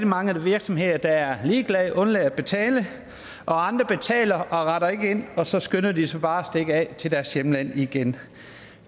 mange virksomheder der er ligeglade og undlader at betale andre betaler og retter ikke ind og så skynder de sig bare at stikke af til deres hjemland igen